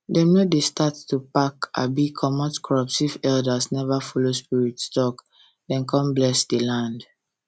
dem no dey start to pack abi comot crops if elders never follow spirits talk then con bless the land